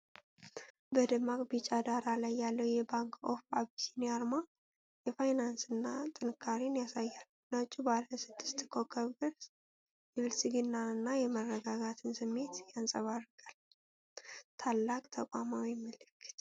በደማቅ ቢጫ ዳራ ላይ ያለው የባንክ ኦፍ አቢሲኒያ አርማ የፋይናንስን ጥንካሬ ያሳያል። ነጩ ባለስድስት ኮከብ ቅርፅ የብልጽግናንና የመረጋጋትን ስሜት ያንጸባርቃል። ታላቅ ተቋማዊ ምልክት!